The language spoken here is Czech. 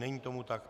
Není tomu tak.